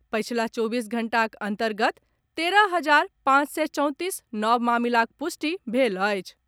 पछिला चौबीस घंटाक अन्तर्गत तेरह हजार पांच सय चौंतीस नव मामिलाक पुष्टि भेल अछि।